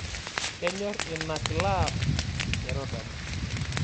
Kenyorr ina klaab e rotary